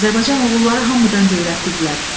Azərbaycan oğulları hamıdan qeyrətlidirlər.